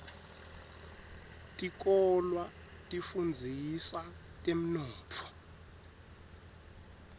tikolwa tifundzisa temnotfo